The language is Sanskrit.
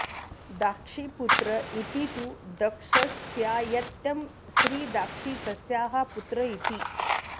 दाक्षीपुत्र इति तु दक्षस्यायत्यं स्त्री दाक्षी तस्याः पुत्र इति